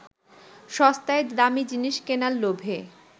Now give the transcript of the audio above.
সস্তায় দামি জিনিস কেনার লোভে